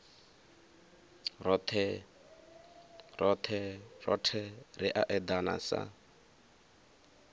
rothe ri a edana sa